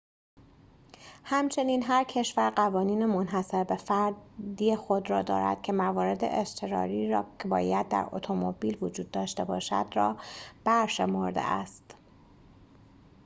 همچنین هر کشور قوانین منحصر به فردی خود را دارد که موارد اضطراری که باید در اتومبیل وجود داشته باشد را برشمرده است